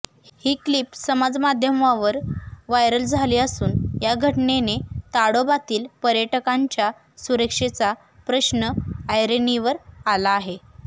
ही clip समाजमाध्यमांवर viral झाली असून या घटनेने ताडोबातील पर्यटकांच्या सुरक्षेचा प्रश्न ऐरणीवर आला आहे